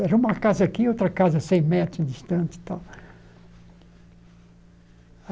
Era uma casa aqui e outra casa a cem metros distante e tal